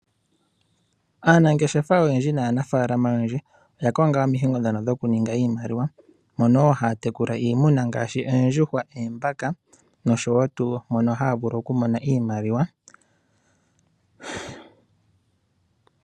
Aanangeshefa oyendji naanafaalama oyendji, oya konga omikalo ndhono dhokuninga iimaliwa, mono wo haya tekula iimuna ngaashi, oondjuhwa, oombaka, noshowo tuu mono haya vulu okumona iimaliwa.